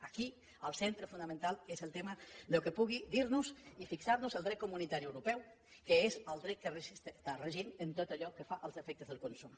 aquí el centre fonamental és el tema del que pugui dir nos i fixar nos el dret comunitari europeu que és el dret que regeix en tot allò que fa als efectes del consum